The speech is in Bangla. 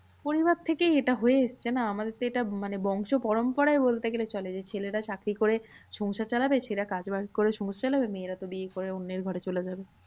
পরিবার থেকেই এটা হয়ে এসেছে না? আমাদের তো এটা মানে বংশপরম্পরায় বলতে গেলে চলে। যে ছেলেরা চাকরি করে সংসার চালাবে। ছেলেরা কাজ বাজ করে সংসার চালাবে। মেয়েরা তো বিয়ে করে অন্যের ঘরে চলে যাবে।